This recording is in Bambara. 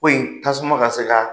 Ko in tasuma ka se ka